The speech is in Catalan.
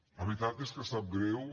la veritat és que sap greu